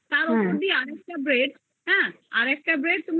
তার উপর দিয়ে আরেকটা bread হ্যা আরেকটা bread তার